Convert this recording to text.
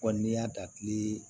n'i y'a da kile